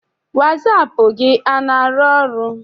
Wasaapụ gị ana arụ ọrụ?